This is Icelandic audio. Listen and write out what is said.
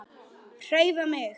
HREYFA MIG!